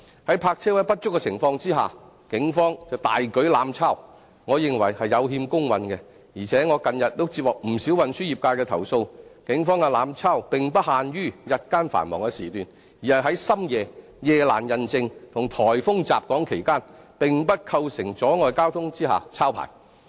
在泊車位不足的情況下，警方卻大舉"濫抄"，我認為是有欠公允，而且我近日也接獲不少運輸業界的投訴，警方的"濫抄"並不限於日間的繁忙時段，而是在深夜、夜闌人靜及颱風襲港期間，並不構成阻礙交通下抄牌。